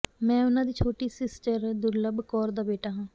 ਮੈਂ ਉਹਨਾਂ ਦੀ ਛੋਟੀ ਸਿਸਟਰ ਦੁਰਲੱਭ ਕੌਰ ਦਾ ਬੇਟਾ ਹਾਂ